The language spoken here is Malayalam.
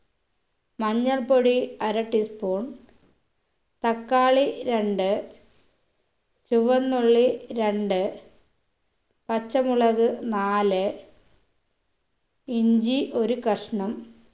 മഞ്ഞൾപ്പൊടി അര tea spoon തക്കാളി രണ്ട് ചുവന്നുള്ളി രണ്ട് പച്ചമുളക് നാല് ഇഞ്ചി ഒരു കഷ്ണം